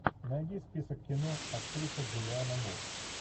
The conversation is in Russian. найди список кино актриса джулианна мур